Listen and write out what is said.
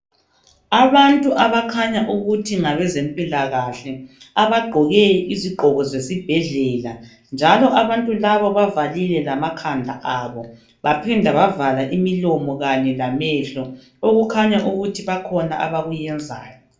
Abantu abakhanya ukuthi ngabezempilakahle abagqoke izigqoko zesibhedlela njalo abantu laba bavalile lamakhanda abo baphinda bavala imilomo kanye lamehlo okukhanya ukuthi bakhona abakuyenzayo.